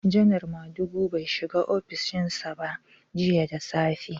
Janar Madugu bai shiga ofishin sa ba jiya da safe.